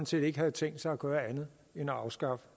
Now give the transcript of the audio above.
set ikke havde tænkt sig at gøre andet end at afskaffe